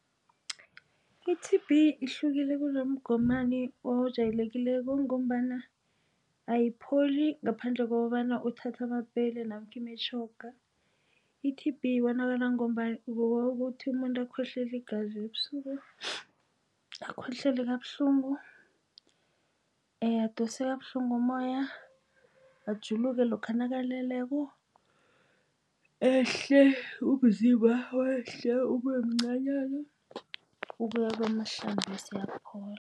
I-T_B_ ihlukile kunomgomani ojayelekileko ngombana ayipholi ngaphandle kokobana uthatha amapeli namkha imitjhoga. I-T_B_ ibonakala ngokuthi umuntu akhohlele igazi ebusuku, akhohlele kabuhlungu, adose kabuhlungu umoya, ajuluke lokha nakaleleko, ehle umzimba, wehle ubemncanyana iyaphola.